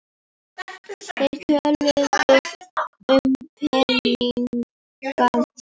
Þeir töluðu um peninga og